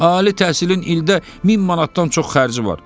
Ali təhsilin ildə min manatdan çox xərci var.